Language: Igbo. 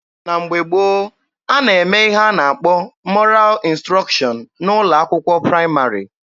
Na mgbe gboo, a na-eme ihe a na-akpọ 'mọral ịnstrọkshọn' n'ụlọ akwụkwọ praịmarị.